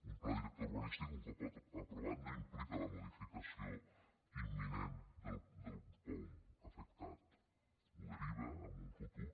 un pla director urbanístic un cop aprovat no implica la modificació imminent del poum afectat ho deriva a un futur